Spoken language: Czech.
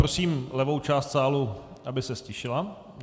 Prosím levou část sálu, aby se ztišila.